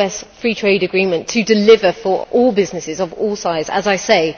US free trade agreement to deliver for all businesses of all sizes, as I say irrespectively.